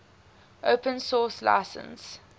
open source license